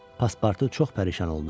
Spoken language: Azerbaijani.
Paspartu çox pərişan oldu.